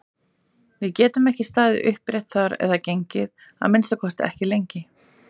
Við gætum ekki staðið upprétt þar eða gengið, að minnsta kosti ekki lengi!